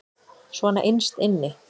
Svona innst inni.